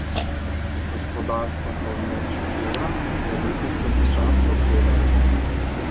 Gospodarstvo v območju evra bo letos le počasi okrevalo.